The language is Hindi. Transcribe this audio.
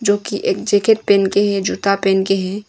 जो कि एक जैकेट पहन के है जूता पहन के है।